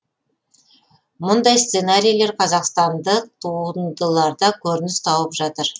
мұндай сценарийлер қазақстандық туындыларда көрініс тауып жатыр